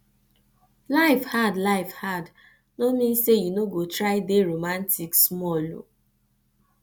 life hard life hard no min sey you no go try dey romatik smal o